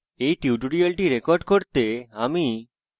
এই tutorial record করতে আমি